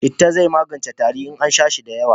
Citta zai yi maganin tari in an sha shi da yawa